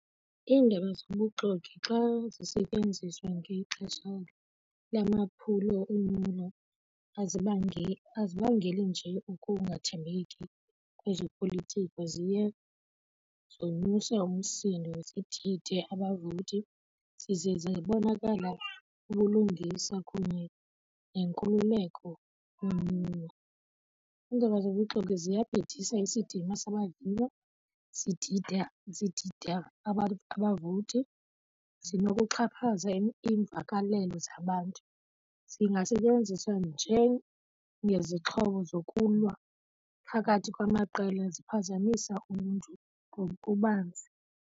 Iindaba zobuxoki xa zisetyenziswa ngexesha lwamaphulo onyulo azibangeli nje ukungathembeki kwezopolitiko ziye zonyusa umsindo, zidide abavoti, zize zabonakala ubulungisa kunye nenkululeko kunyulo. Iindaba zobuxoki ziyabhidisa isidima sabaviwa, zidida, zidida abavoti, zinokuxhaphaza iimvakalelo zabantu. Zingasetyenziswa njengezixhobo zokulwa phakathi kwamaqela, ziphazamisa uluntu ngokubanzi.